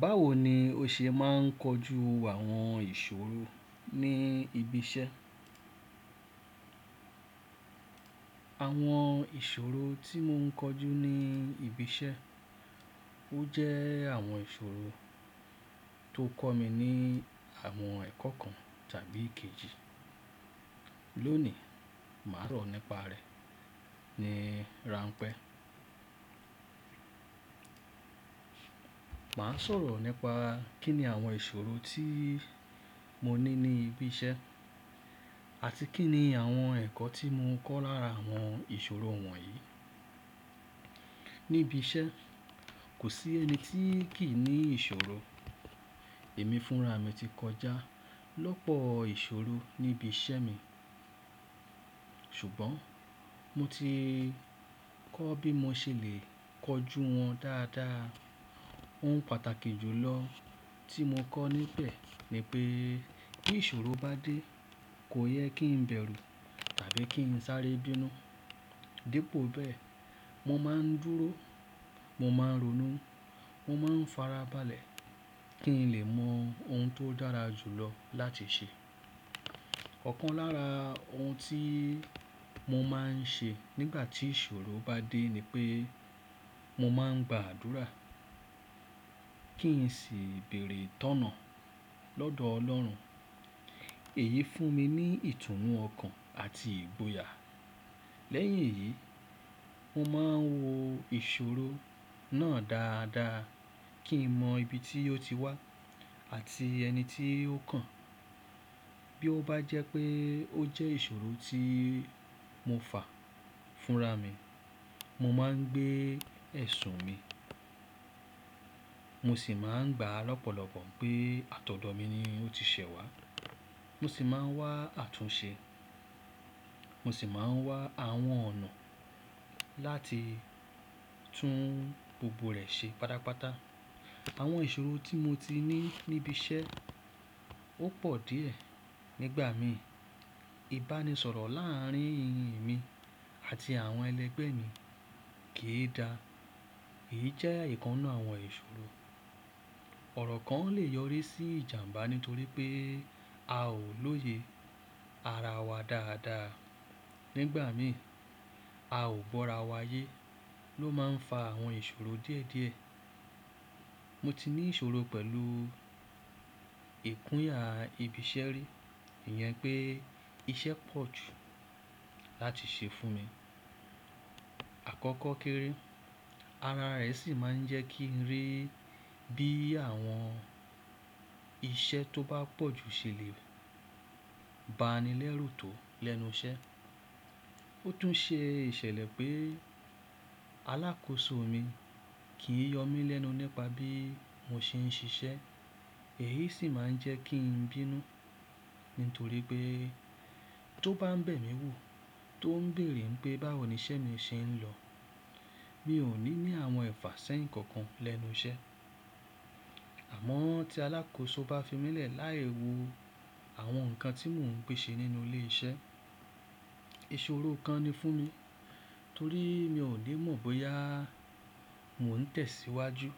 Báwo ni o ṣe máa ń kojú àwọn ìṣòro ní ibi iṣẹ́? Àwọn ìṣòro tí mò ń kọjú ní ibi iṣẹ́, ó jẹ́ àwọn ìṣòro tó kọ́ mi ní àwọn ẹ̀kọ́ kan tàbí kejì. Lónìí, màá rò nípa rẹ̀ ní rampẹ́. Màá sọ̀rọ̀ nípa kí ni àwọn ìṣòro tí mo ní ní ibi iṣẹ́ àti kí ni àwọn ẹ̀kọ́ tí mo kọ́ lára àwọn ìṣòro wọ̀nyí. Níbi iṣẹ́, kò sí ẹni tí kì í ní ìṣòro. Èmi fúnra mi ti kọjá lọ́pọ̀ ìṣòro níbi iṣẹ́ mi. Ṣùgbọ́n mo ti kọ́ bí mo ṣe lè kọjú wọn dáadáa. Ohun pàtàkì jù lọ tí mo kọ́ níbẹ̀ ni pé bí ìṣòro bá dé, kò yẹ kí n bẹ̀rù tàbí kí n sáré bínú. Dípò bẹ́ẹ̀, mo máa ń dúró, mo máa ń ronú, mo máa ń farabalẹ̀ kí n lè mọ ohun tó dára jù lọ láti ṣe. Ọ̀kan lára ohun tí mo máa ń ṣe nígbà tí ìṣòro bá dé ni pé mo máa ń gba àdúrà kí n sì bèerè itọ̀nà lọ́dọ̀ Ọlọ́run. Èyí fún mi ní ìtùnú ọkàn àti ìgboyà. Lẹ́yìn èyí, mo máa ń wo ìṣòro náà dáadáa kí n mọ ibi tí ó ti wá àti ẹni tí ó kàn. Bí ó bá jẹ́ pé ó jẹ́ ìṣòro tí mo fà fúnra mi, mo máa ń gbé ẹ̀sùn mi. Mo sì máa ń gba lọ́pọ̀lọpọ̀ pé àtọ̀dọ́ mi ni ó ti ṣẹ̀ wá. Mo sì máa ń wá àtúnṣe. Mo sì máa ń wá àwọn ọ̀nà láti tún gbogbo rẹ̀ ṣe pátápátá. Àwọn ìṣòro tí mo ti ní níbi iṣẹ́ ó pọ̀ díẹ̀ nígbà mi. Ìbánisọ̀rọ̀ láàrín emi àti àwọn ẹlẹgbẹ́ mi kì í da. Èyí jẹ́ ìkan ninu àwọn ìṣòro. Ọ̀rọ̀ kan lè yọrí sí ìjàmbá nítorí pé a ò lóye ara wa dáadáa nígbà mi. A ò gbọ́ra wa yé ló máa ń fa àwọn ìṣòro díẹ̀díẹ̀. Mo ti ní ìṣòro pẹ̀lú ìkúnya ibi iṣẹ́ rí, ìyẹn pé iṣẹ́ pọ̀ jù láti ṣe fún mi. Àkọ́kọ́ kéré, ara rẹ̀ sì máa ń jẹ́ kí n rí bí àwọn iṣẹ́ tó bá pọ̀ jù ṣe lè ba ni lẹ́rù tò lẹ́nu iṣẹ́. Ó tún ṣe ìṣẹ̀lẹ̀ pé alákòóso mi kì í yọ mí lẹ́nu nípa bí mo ṣe ń ṣiṣẹ́. Èyí sì máa ń jẹ́ kí n bínú nítorí pé tó bá ń bẹ̀ mí wò, tó ń bèèrè pé báwo ni iṣẹ́ mi ṣe ń lọ. Mi ò ní ní àwọn ẹ̀fà sẹ́yìn kankan lẹ́nu iṣẹ́. Àmọ́ tí alákòóso bá fi mí lẹ̀ láì wo àwọn nǹkan tí mò ń gbé ṣe nínú ilé iṣẹ́, ìṣòro kan ni fún mi torí mi ò ní mọ̀ bóyá mò ń tẹ̀síwájú